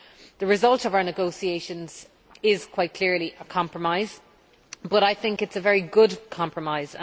The result of our negotiations is quite clearly a compromise, but I think it is a very good compromise.